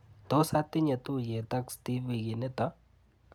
Tos atinye tuiyet ak Steve wikinito?